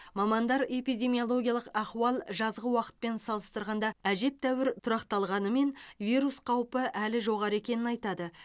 мамандар эпидемиологиялық ахуал жазғы уақытпен салыстырғанда әжептәуір тұрақталғанымен вирус қаупі әлі жоғары екенін айтады